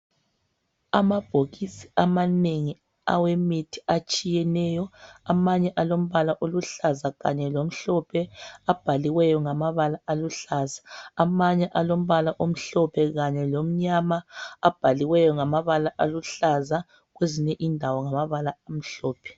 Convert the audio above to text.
Amabhokisi amanengi awemithi atshiyeneyo. Amanye alombala oluhlaza kanye lomhlophe abhaliweyo ngamabala aluhlaza, amanye alombala omhlophe kanye lomnyama abhaliweyo ngamabala aluhlaza kwezinye indawo ngamabala amhlophe.